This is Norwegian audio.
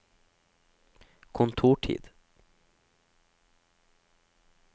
kontortid